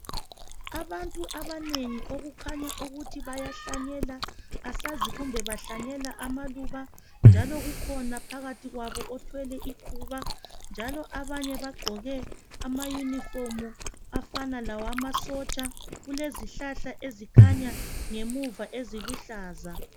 Abantu abanengi okukhanya ukuthi bayahlanyela asazi kumbe bahlanyela amaluba njalo kukhona phakathi kwabo othwele ikhuba njalo abanye bagqoke ama unifomu afana lawama sotsha kulezihlahla ezikhanya ngamuva eziluhlaza